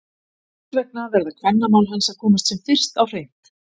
Þess vegna verða kvennamál hans að komast sem fyrst á hreint!